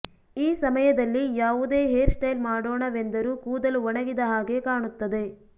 ಈ ಸಮಯದಲ್ಲಿ ಯಾವುದೇ ಹೇರ್ ಸ್ಟೈಲ್ ಮಾಡೋಣವೆಂದರೂ ಕೂದಲು ಒಣಗಿದ ಹಾಗೇ ಕಾಣುತ್ತದೆ